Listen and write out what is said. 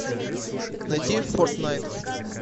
найти фортнайт